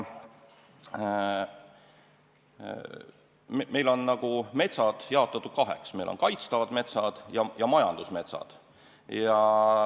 Meil on metsad jaotatud kaheks: meil on kaitstavad metsad ja majandusmetsad.